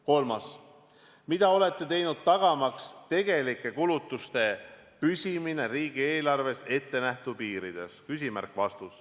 Kolmas küsimus: "Mida olete teinud tagamaks tegelike kulutuste püsimine riigieelarves ettenähtud piirides?